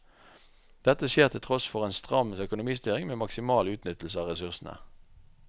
Dette skjer til tross for en stram økonomistyring med maksimal utnyttelse av ressursene.